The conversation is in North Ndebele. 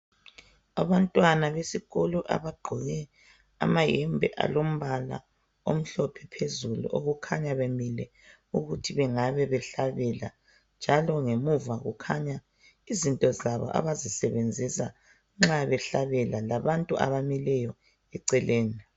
Abantwana besikolo abagqoke amayembe alombala omhlophe phezulu, okukhanya bemile ukuthi bengabe behlabela njalo ngemuva kukhanya izinto zabo abazisebenzisa nxa behlabela labantu abamileyo eceleni.